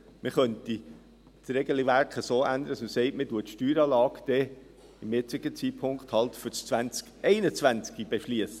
Man könnte also das Regelwerk so ändern, dass man sagt: Man beschliesst die Steueranlage zum jetzigen Zeitpunkt dann halt für das Jahr 2021.